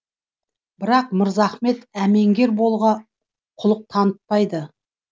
бірақ мырзахан әмеңгер болуға құлық танытпайды